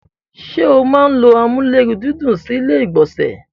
ṣé o máa n ló amúlérùndídùn sí ilé ìgbọ̀nsẹ̀?